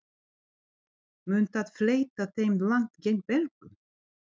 Mun það fleyta þeim langt gegn Belgum?